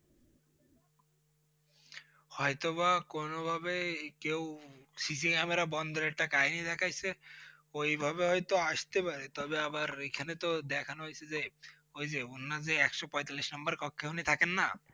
হয়তো বা কোনোভাবে কেউ CC Camera দেখায় সে ওই ভাবে হয়তো আস্তে পারে, তবে আবার এখানে তো দেখানো হয়েছে যে, ওই যে অন্য যে একশো পঁয়তাল্লিশ নম্বর কক্ষে উনি থাকেন না?